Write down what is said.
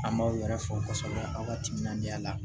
An b'aw yɛrɛ fo kosɛbɛ aw ka timinandiya la